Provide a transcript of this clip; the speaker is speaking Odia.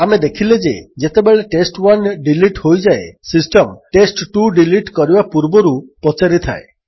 ଆମେ ଦେଖିଲେ ଯେ ଯେତେବେଳେ ଟେଷ୍ଟ୍1 ଡିଲିଟ୍ ହୋଇଯାଏ ସିଷ୍ଟମ୍ ଟେଷ୍ଟ୍2 ଡିଲିଟ୍ କରିବା ପୂର୍ବରୁ ପଚାରିଥାଏ